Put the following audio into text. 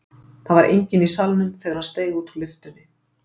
Það var enginn í salnum þegar hann steig út úr lyftunni.